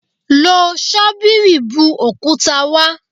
Lo ṣọ́bìrì bu òkúta wá.